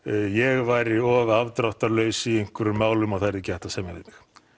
ég væri of afdráttarlaus í einhverjum málum og það væri ekki hægt að semja við